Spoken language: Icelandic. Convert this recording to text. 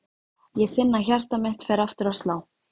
Ég finn að hjarta mitt fer aftur að slá.